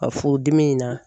Ka furudimi in na